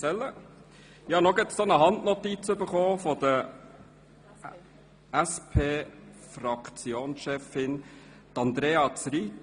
Gerade habe ich noch eine Handnotiz von der SP-Fraktionschefin erhalten.